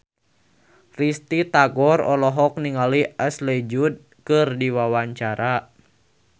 Risty Tagor olohok ningali Ashley Judd keur diwawancara